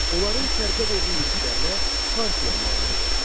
Onların şərqə doğru yürüşlərinə Parfiya mane olurdu.